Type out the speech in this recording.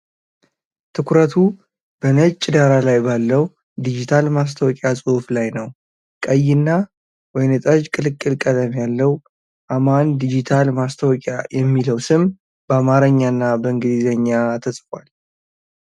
ትኩረቱ በነጭ ዳራ ላይ ባለው ዲጂታል ማስታወቂያ ጽሑፍ ላይ ነው። ቀይ እና ወይን ጠጅ ቅልቅል ቀለም ያለው "አማን ዲጂታል ማስታወቂያ" የሚለው ስም በአማርኛ እና በእንግሊዝኛ ተጽፏል።